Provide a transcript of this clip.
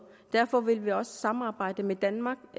derfor vil vi også samarbejde med danmark